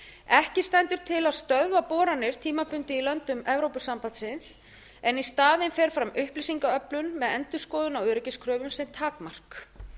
ekki stendur til að stöðva boranir tímabundið í löndum evrópusambandsins en í staðinn fer fram upplýsingaöflun með endurskoðun á öryggiskröfum sem takmark